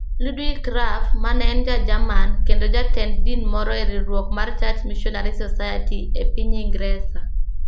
Ludwig Krapf, ma ne en Ja-Jerman kendo jatend din moro e riwruok mar Church Missionary Society e piny Ingresa.